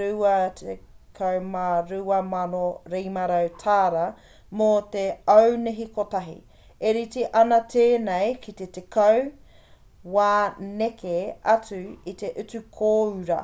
$22,500 mō te aunihi kotahi e rite ana tēnei ki te tekau wā neke atu i te utu kōura